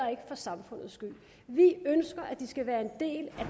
eller for samfundets skyld vi ønsker at de skal være en del